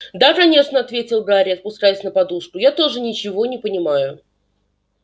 да конечно ответил гарри опускаясь на подушку я тоже ничего не понимаю